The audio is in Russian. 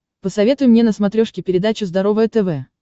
посоветуй мне на смотрешке передачу здоровое тв